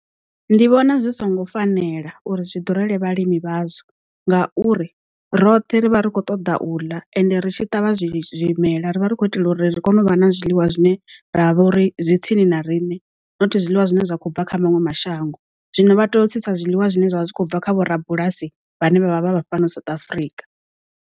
Ndi vhona zwi songo fanela uri zwi ḓurele vhalimi vhazwo, ngauri roṱhe ri vha ri khou ṱoḓa u ḽa ende ri tshi ṱavha zwimela ri vha ri khou itela uri ri kone u vha na zwiḽiwa zwine ra vha uri zwi tsini na riṋe nothi zwiḽiwa zwine zwa kho bva kha maṅwe mashango, zwino vha teo tsitsa zwiḽiwa zwine zwavha zwi kho bva kha vho rabulasi vhane vha vha vha vha fhano South Africa.